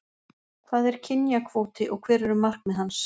Hvað er kynjakvóti og hver eru markmið hans?